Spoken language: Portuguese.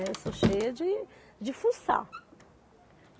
Eu sou cheia de de fuçar.